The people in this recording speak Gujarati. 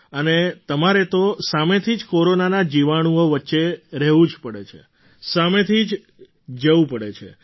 અને તમારે તો સામેથી જ કોરોનાના જીવાણુઓ વચ્ચે રહેવું જ પડે છે સામેથી જવું પડે છે